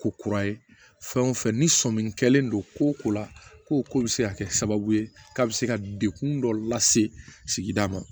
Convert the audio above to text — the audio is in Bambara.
Ko kura ye fɛn o fɛn ni sɔmi kɛlen don ko o ko la ko o ko bɛ se ka kɛ sababu ye k'a bɛ se ka degun dɔ lase sigida ma